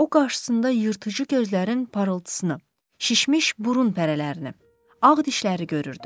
O qarşısında yırtıcı gözlərin parıltısını, şişmiş burun pərələrini, ağ dişləri görürdü.